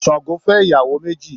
Sango fẹ́ ìyàwó méjì